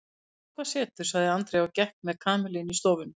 Við sjáum hvað setur sagði Andrea og gekk með Kamillu inn í stofuna.